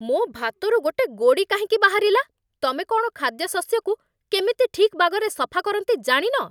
ମୋ' ଭାତରୁ ଗୋଟେ ଗୋଡ଼ି କାହିଁକି ବାହାରିଲା? ତମେ କ'ଣ ଖାଦ୍ୟଶସ୍ୟକୁ କେମିତି ଠିକ୍ ବାଗରେ ସଫା କରନ୍ତି ଜାଣିନ?